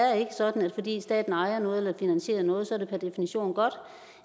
sådan at fordi staten ejer noget eller finansierer noget så er det per definition godt